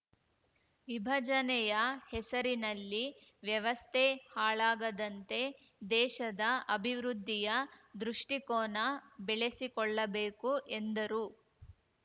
ವಿಭಜನೆಯ ಹೆಸರಿನಲ್ಲಿ ವ್ಯವಸ್ಥೆ ಹಾಳಾಗದಂತೆ ದೇಶದ ಅಭಿವೃದ್ಧಿಯ ದೃಷ್ಟಿಕೋನ ಬೆಳೆಸಿಕೊಳ್ಳಬೇಕು ಎಂದರು